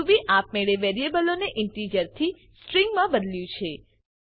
Ruby આપ મેળે વેરીએબલોને ઇન્ટિજર થી સ્ટ્રીંગ મા બદલ્યું છે